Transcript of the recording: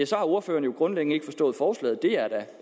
så har ordføreren grundlæggende ikke forstået forslaget det er